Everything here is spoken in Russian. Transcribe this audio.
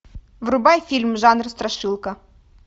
врубай фильм жанр страшилка